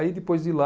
Aí, depois de lá